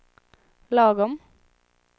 lagom